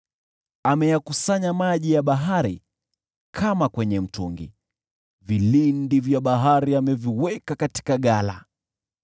Ameyakusanya maji ya bahari kama kwenye chungu; vilindi vya bahari ameviweka katika ghala.